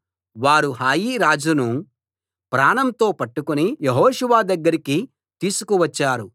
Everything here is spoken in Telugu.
వారు హాయి రాజును ప్రాణంతో పట్టుకుని యెహోషువ దగ్గరికి తీసుకువచ్చారు